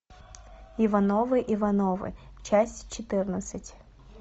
ивановы ивановы часть четырнадцать